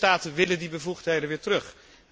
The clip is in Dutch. De lidstaten willen die bevoegdheden weer terug.